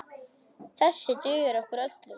Þessir duga okkur öllum.